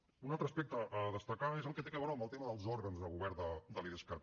un altre aspecte a destacar és el que té a veure amb el tema dels òrgans de govern de l’idescat